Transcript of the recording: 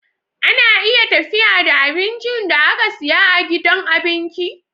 Ana iya tafiya da abincin da aka siya a gidan abinki